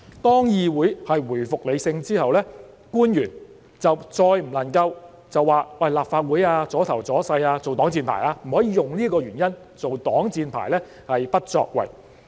當議會回復理性之後，官員再不能以"立法會阻頭阻勢"這個原因，作為擋箭牌而不作為。